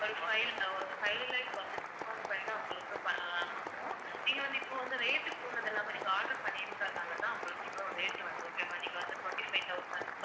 ஒரு fiv~ ஒரு five lakh வந்து discout பண்ணி தான் உங்களுக்கு அஹ் கொடுப்போம் நீங்க வந்து இப்போ வந்து rate கூடானது எல்லாமே நீங்க order பண்ணிருக்கறதனால தான் உங்களுக்கு இவ்வளவு rate வருது okay வா நீங்க வந்து twenty-five thousand